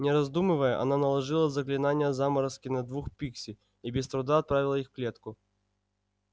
не раздумывая она наложила заклинание заморозки на двух пикси и без труда отправила их в клетку